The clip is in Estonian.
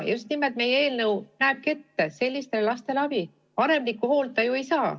Meie eelnõu näebki ette sellisele lapsele abi andmise, vanemlikku hoolt ta ju ei saa.